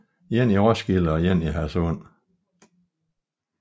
En i Roskilde og en i Hadsund